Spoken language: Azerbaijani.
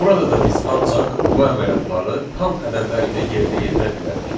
Burada da biz ancaq bu əməliyyatları tam ədədlər ilə yerinə yetirə bilərik.